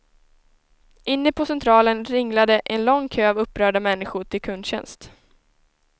Inne på centralen ringlade en lång kö av upprörda människor till kundtjänst.